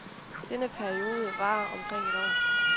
Denne periode varer omkring et år.